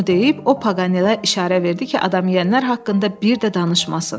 Bunu deyib o Paganele işarə verdi ki, adam yeyənlər haqqında bir də danışmasın.